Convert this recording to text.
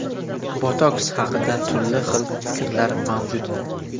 Botoks haqida turli xil fikrlar mavjud.